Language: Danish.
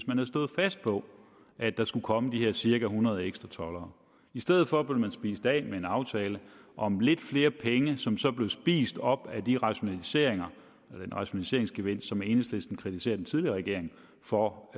man havde stået fast på at der skulle komme de her cirka hundrede ekstra toldere i stedet for blev man spist af med en aftale om lidt flere penge som så blev spist op af den rationaliseringsgevinst som enhedslisten kritiserede den tidligere regering for